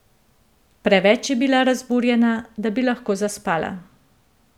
Preveč je bila razburjena, da bi lahko zaspala.